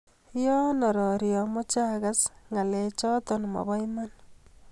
Yaayan arori amache agaas ngalechata mabo Iman